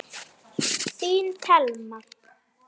Þín Thelma.